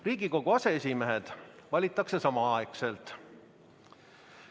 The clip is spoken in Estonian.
Riigikogu aseesimehed valitakse samaaegselt.